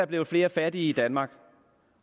blevet flere fattige i danmark